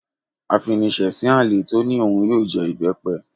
Afinisesin àlè tó ní òun yóò jẹ ìbẹ́pẹ